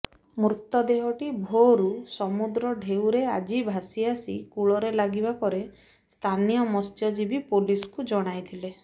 ମୃତଦେହଟି ଭୋରରୁ ସମୁଦ୍ର ଢେଉରେ ଆଜି ଭାସି ଆସି କୂଳରେ ଲାଗିବା ପରେ ସ୍ଥାନୀୟ ମତ୍ସଜୀବୀ ପୋଲିସ୍କୁ ଜଣାଇଥିଲେ